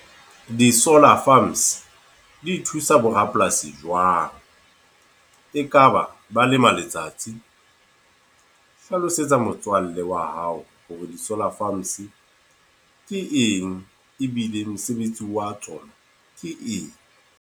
Di-solar farms, di thusa bo rapolasi jwang? E kaba ba lema letsatsi? Hlalosetsa motswalle wa hao hore di-solar farms ke eng, ebile mosebetsi wa tsona ke eng.